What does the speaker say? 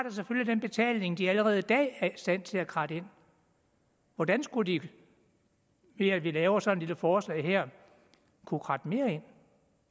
den betaling de allerede i dag er i stand til at kratte ind hvordan skulle de ved at vi laver sådan en lille forslag her kunne kratte mere ind